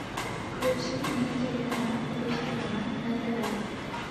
включи мне телеканал русский роман на тв